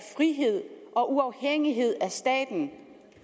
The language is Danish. frihed og uafhængighed af staten